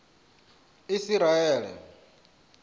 isiraele